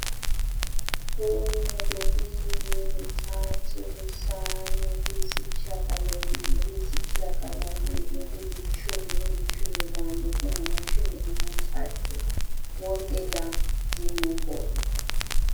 Kunye, kubili, kuthathu, kuhlanu, kuyisitshiya galombili, kuyisitshiya galolunye, kulitshumi , kulitshumi lanye, kungamatshumi amathathu, wonke la zinombolo